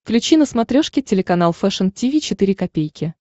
включи на смотрешке телеканал фэшн ти ви четыре ка